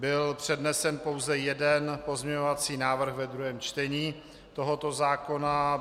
Byl přednesen pouze jeden pozměňovací návrh ve druhém čtení tohoto zákona.